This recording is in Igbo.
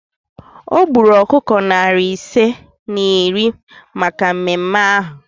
O gburu ọkụkọ narị ise na iri maka mmemme ahụ